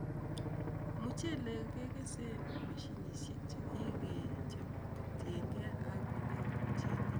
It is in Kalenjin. Muchelek kekese mashinisiek chekikechop kotienkee ak ngalekab muchelek.